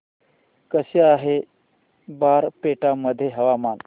कसे आहे बारपेटा मध्ये हवामान